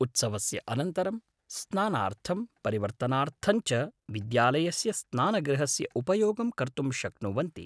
उत्सवस्य अनन्तरं स्नानार्थं परिवर्तनार्थं च विद्यालयस्य स्नानगृहस्य उपयोगं कर्तुं शक्नुवन्ति ।